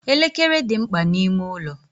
Elekere dị mkpa n'ime ụlọ.